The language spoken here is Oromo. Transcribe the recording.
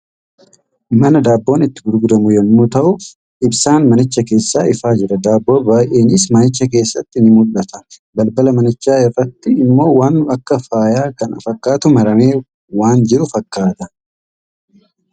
Mana daabboon itti gurguramu yommuu ta'u, ibsaan manicha keessaa ifaa jira. Daabboo baay'eenis manicha keessatti ni mul'ata. Balbala manichaa irratti immooo waan akka faayaa kan fakkatu maramee waan jiru fakkata.